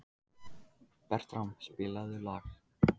Bertram, spilaðu lag.